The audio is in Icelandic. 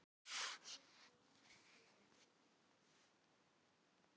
Stundum vaknaði konan við að maðurinn hrópaði upp úr svefni